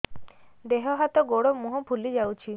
ଦେହ ହାତ ଗୋଡୋ ମୁହଁ ଫୁଲି ଯାଉଛି